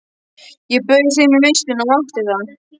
Ég bauð þeim í veisluna og ég mátti það